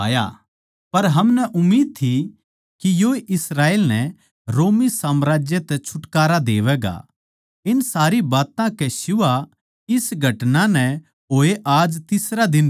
पर हमनै उम्मीद थी के योए इस्राएल नै रोमी साम्राज्य तै छुटकारा देवैगा इन सारी बात्तां कै सिवा इस घटना नै होए आज तीसरा दिन सै